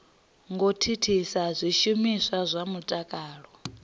ngo thithisa zwishumiswa zwa mutakalo